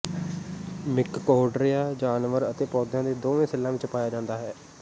ਮਿਕਕੋਹਡ੍ਰਿਆ ਜਾਨਵਰ ਅਤੇ ਪੌਦਿਆਂ ਦੇ ਦੋਵੇਂ ਸੈੱਲਾਂ ਵਿਚ ਪਾਇਆ ਜਾਂਦਾ ਹੈ